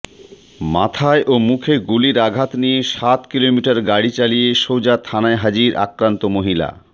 মাথায় ও মুখে গুলির আঘাত নিয়ে সাত কিলোমিটার গাড়ি চালিয়ে সোজা থানায় হাজির আক্রান্ত মহিলা